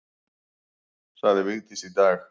Sagði Vigdís í dag.